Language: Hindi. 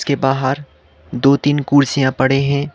के बाहर दो तीन कुर्सियां पड़े हैं।